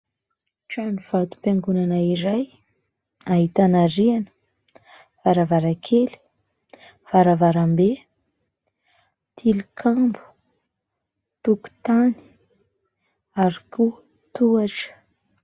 Trano vato-piangonana iray ahitana : rihana, varavarankely, varavarambe, tilikambo, tokotany ary koa tohatra.